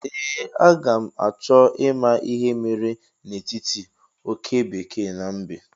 Ee, a ga m achọ ịma ihe mere n'etiti oke bekee na mbe